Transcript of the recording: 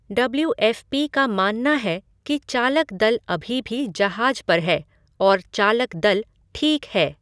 W F P का मानना है कि चालक दल अभी भी जहाज पर है और चालक दल 'ठीक' है।